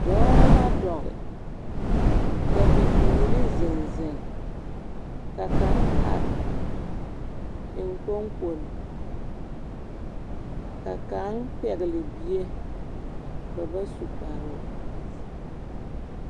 Dɔɔ la dɔge, ka bibiiri zeŋ zeŋ. Ka kaŋ ar eŋkpoŋkpol. Ka kaŋ pɛgle bie, ba ba su kparoo.